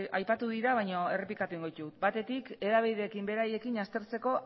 aipatu dira baina errepikatuko egingo ditut batetik hedabideekin beraiekin aztertzeko